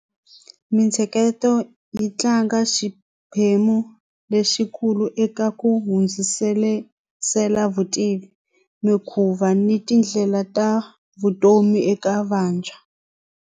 Mintsheketo yi tlanga xiphemu lexikulu eka ku hundzisela vutivi mikhuva ni tindlela ta vutomi eka vantshwa.